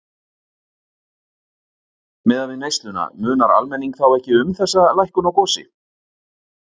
Miðað við neysluna munar almenning þá ekki um þessa lækkun á gosi?